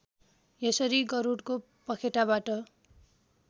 यसरी गरुडको पखेटाबाट